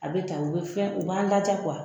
A be tan u be fɛn, u b'an ladiya